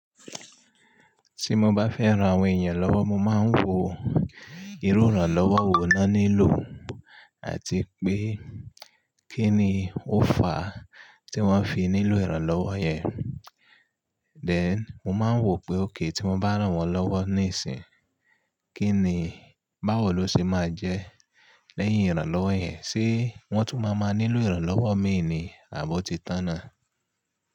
Tí mo bá fẹ́ ran àwọn èèyàn lọ́wọ́, mo máa ń wo irú ìrànlọ́wọ́ wo ni won nílò àti pé kí ni ó fà á tí wọ́n fi nílò ìrànlọ́wọ́ yẹn. Then mo máa ń wò pé òkay, tí mo bá ràn wọ́n lọ́wọ́ níìsín, kí ni báwo ló ṣe máa jẹ́ lẹ́yìn ìrànlọ́wọ́ yẹn. Ṣé wọ́n tún máa máa nílò ìrànlọ́wọ́ mi ni àbi ọ̀ ti tàn náà?